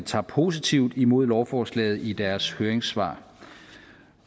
tager positivt imod lovforslaget i deres høringssvar